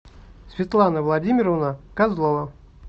светлана владимировна козлова